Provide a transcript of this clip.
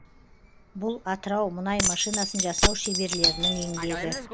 бұл атырау мұнай машинасын жасау шеберлерінің еңбегі